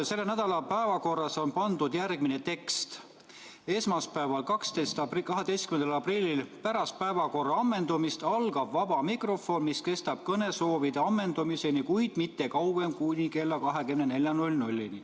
Selle nädala päevakorras on tekst, et esmaspäeval, 12. aprillil algab pärast päevakorra ammendumist vaba mikrofon, mis kestab kõnesoovide ammendumiseni, kuid mitte kauem kui kella 24-ni.